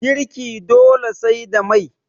girki dole sai da Mai